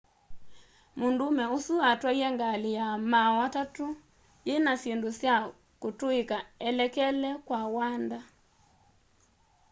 mũndũũme ũsu atwaie ngalĩ ya maaũ atatũ yĩna syĩndũ sya kũtũĩka elekele kwa wanda